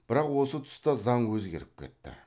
бірақ осы тұста заң өзгеріп кетті